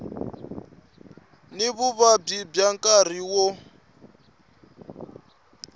ni vuvabyi bya nkarhi wo